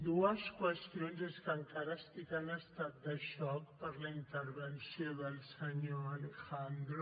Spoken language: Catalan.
dues qüestions és que encara estic en estat de xoc per la intervenció del senyor alejandro